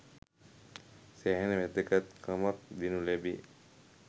සෑහෙන වැදගත්කමක් දෙනු ලැබේ.